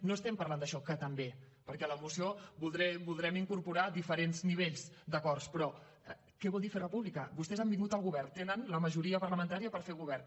no estem parlant d’això que també perquè a la moció voldrem incorporar diferents nivells d’acords però què vol dir fer república vostès han vingut al govern tenen la majoria parlamentària per fer govern